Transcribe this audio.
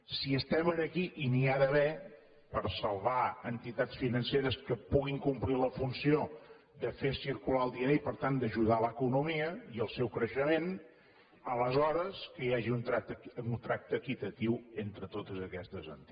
si estem aquí i n’hi ha d’haver per salvar entitats financeres que puguin complir la funció de fer circular el diner i per tant d’ajudar l’economia i el seu creixement aleshores que hi hagi un tracte equitatiu entre totes aquestes entitats